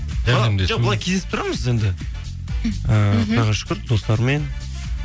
былай кездесіп тұрамыз енді ііі құдайға шүкір достармен